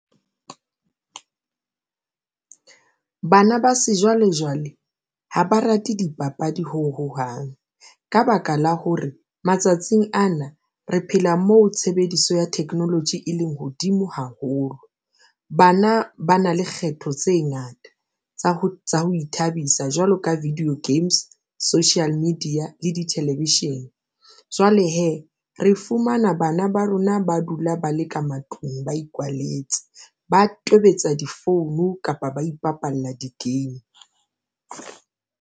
Bana ba sejwalejwale ha ba rate dipapadi ho hohang ka baka la hore matsatsing ana re phela moo tshebediso ya technology e leng hodimo haholo. Bana ba na le kgetho tse ngata ng tsa ho tswa ho ithabisa jwalo ka video games, social media le dithelevishine. Jwale hee re fumana bana ba rona ba dula ba leka matlung, ba ikwalletse, ba tobetsa difounu, kapa ba ipapalla di-game.